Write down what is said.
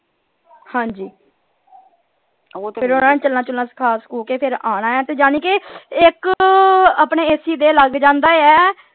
ਹਾਂਜੀ ਫੇਰ ਓਹਨਾਂ ਨੂ ਚਲਨਾ ਚੁਲਨਾ ਸਿਖਾ ਸਿਖੁ ਕੇ ਫਿਰ ਆਉਣਾ ਹੈ ਤੇ ਯਾਨੀ ਕੇ ਇਕ ਆਪਣੇ AC ਦੇ ਲੱਗ ਜਾਂਦੇ ਆ,